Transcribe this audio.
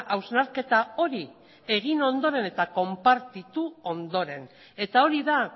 hausnarketa hori egin ondoren eta konpartitu ondoren eta hori da